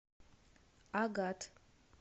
агат